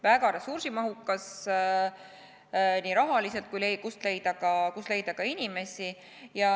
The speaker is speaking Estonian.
Väga ressursimahukas rahaliselt ja kust leida ka inimesi.